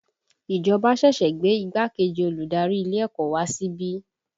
Ìjọba ṣẹ̀ṣẹ̀ gbé igbákejì olùdarí ilé ẹ̀kọ́ wá síbí